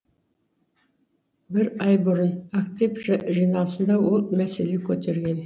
бір ай бұрын актив жиналысында ол мәселе көтерген